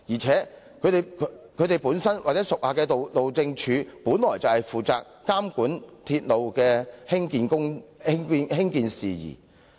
此外，該局屬下的路政署，本應負責監管鐵路興建事宜。